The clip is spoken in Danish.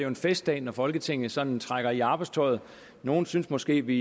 en festdag når folketinget sådan trækker i arbejdstøjet nogle synes måske vi